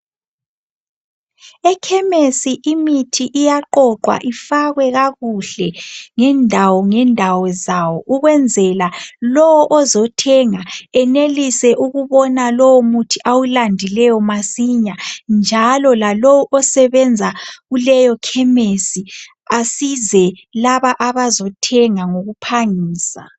Ekhemesi imithi iyaqoqwa ifakwe kakuhle ngendawo ngendawo zawo ukwenzela lowo ozothenga enelise ukubona lowo muthi awulandileyo masinya njalo lalowu osebenza kuleyo khemesi asize labo abozothenga ngokuphangisa.